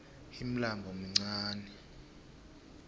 ulmlambo muncani